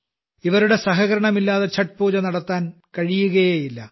ഇവരുടെ സഹകരണം ഇല്ലാതെ ഛഠ് പൂജ നടത്താനേ കഴിയുകയില്ല